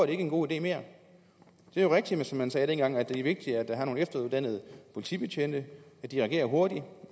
det ikke en god idé mere det er jo rigtigt som man sagde dengang at det er vigtigt at der er nogle efteruddannede politibetjente at de reagerer hurtigt